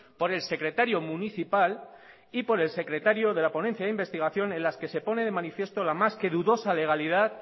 por el secretario municipal y por el secretario de la ponencia de investigación en la que se pone de manifiesto la más que dudosa legalidad